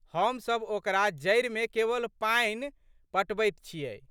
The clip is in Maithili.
हमसब ओकरा जड़िमे केवल पानि पटबैत छियै।